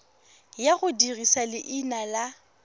ya go dirisa leina la